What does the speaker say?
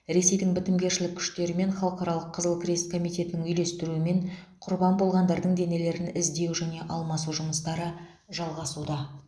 ресейдің бітімгершілік күштері мен халықаралық қызыл крест комитетінің үйлестіруімен құрбан болғандардың денелерін іздеу және алмасу жұмыстары жалғасуда